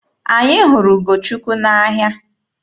Anyị hụrụ Ugochukwu n'ahịa.